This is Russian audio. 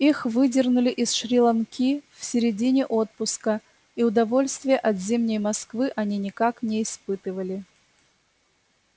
их выдернули из шри-ланки в середине отпуска и удовольствия от зимней москвы они никак не испытывали